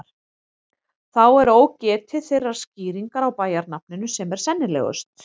Þá er ógetið þeirrar skýringar á bæjarnafninu sem er sennilegust.